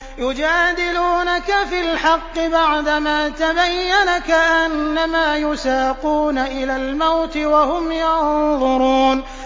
يُجَادِلُونَكَ فِي الْحَقِّ بَعْدَمَا تَبَيَّنَ كَأَنَّمَا يُسَاقُونَ إِلَى الْمَوْتِ وَهُمْ يَنظُرُونَ